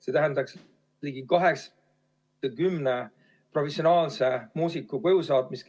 See tähendaks ligi 80 professionaalse muusiku koju saatmist.